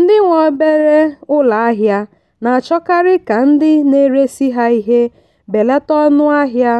ndị nwe obere ụlọ ahịa na-achọkarị ka ndị na-eresị ha ihe belata ọnụ ahịa